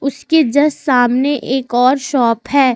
उसके जस्ट सामने एक और शॉप है।